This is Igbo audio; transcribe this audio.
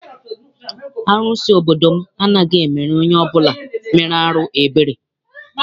Arụsị obodo m anaghị emere onye ọbụla mere arụ ebere.